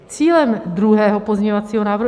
Cílem druhého pozměňovacího návrhu...